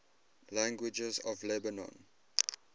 languages of lebanon